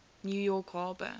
new york harbor